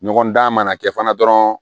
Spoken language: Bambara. Ɲɔgɔn dan mana kɛ fana dɔrɔn